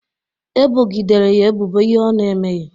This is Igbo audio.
Ebogidere ya ebubo ihe ọ ná-emeghị